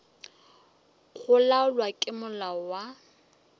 go laolwa ke molao wa